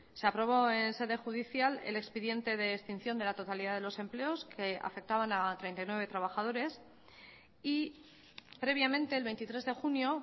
se aprobó en sede judicial el expediente de extinción de la totalidad de los empleos que afectaban a treinta y nueve trabajadores y previamente el veintitrés de junio